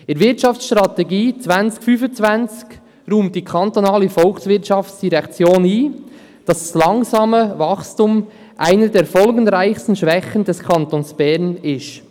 In der Wirtschaftsstrategie 2025 räumt die VOL ein, dass das langsame Wachstum «eine der folgenreichsten Schwächen des Kantons Bern» sei.